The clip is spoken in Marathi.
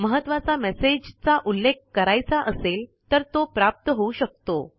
महत्वाचा मेसेज चा उलॆख करायचा असेल तर तो प्राप्त होऊ शकतो